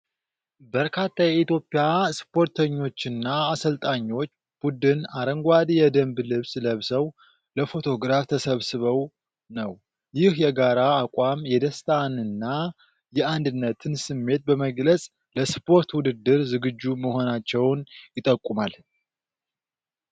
በርካታ የኢትዮጵያ ስፖርተኞችና አሰልጣኞች ቡድን አረንጓዴ የደንብ ልብስ ለብሰው ለፎቶግራፍ ተሰብስበው ነው። ይህ የጋራ አቋም የደስታንና የአንድነትን ስሜት በመግለጽ ለስፖርት ውድድር ዝግጁ መሆናቸውን ይጠቁማል።